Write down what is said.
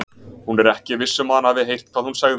Hún er ekki viss um að hann hafi heyrt hvað hún sagði.